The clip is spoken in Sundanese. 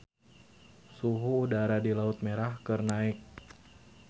Suhu udara di Laut Merah keur naek